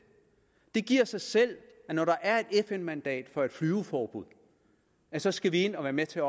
det giver sig selv at når der er et fn mandat for et flyveforbud så skal vi ind og være med til at